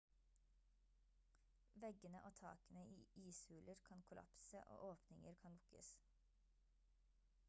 veggene og takene i ishuler kan kollapse og åpninger kan lukkes